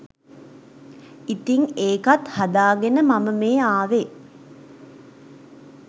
ඉතින් ඒකත් හදාගෙන මම මේ අවේ